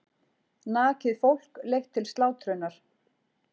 Nakið fólk leitt til slátrunar.